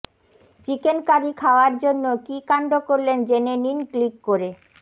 chicken curry খাওয়ার জন্য কী কাণ্ড করলেন জেনে নিন ক্লিক করে